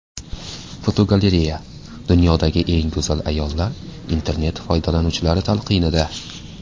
Fotogalereya: Dunyodagi eng go‘zal ayollar internet foydalanuvchilari talqinida.